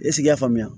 i k'a faamuya